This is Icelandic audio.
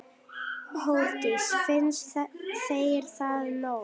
Hjördís: Finnst þér það nóg?